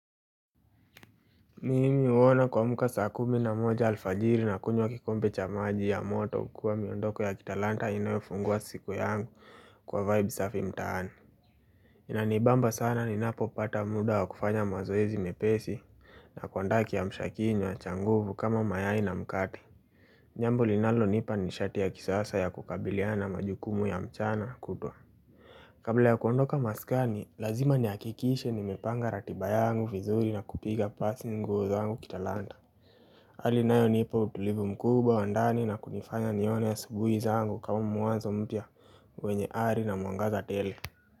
Mimi huona kuamka saa kumi na moja alfajiri na kunywa kikombe cha maji ya moto kukua miondoko ya kitalanta inayofungua siku yangu kwa vibe safi mtaani Inanibamba sana ninapo pata muda wa kufanya mazoezi mepesi na kuandaa kiamsha kinywa cha nguvu kama mayai na mkate jambo linalo nipa nishati ya kisasa ya kukabiliana na majukumu ya mchana kutwa Kabla ya kuondoka maskani, lazima nihakikishe nimepanga ratiba yangu vizuri na kupiga pasi nguo zangu kitalanta Ali inayo nipa utulivu mkubwa wa ndani na kunifanya nione asubuhi zangu kama mwanzo mpya wenye ari na mwangaza tele.